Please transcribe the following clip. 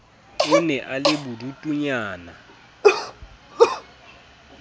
a ne a le bodutunyana